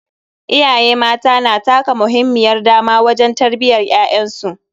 Iyaye mata na taka muhimmiyar dama wajen tarbiyyar ƴaƴan su.